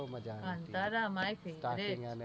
બો મજ્જા આવે એ તો મારુ favourite